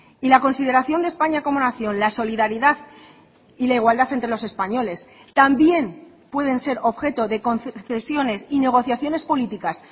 y la consideración de españa como nación la solidaridad y la igualdad entre los españoles también pueden ser objeto de concesiones y negociaciones políticas